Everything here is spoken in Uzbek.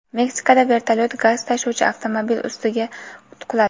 Meksikada vertolyot gaz tashuvchi avtomobil ustiga quladi.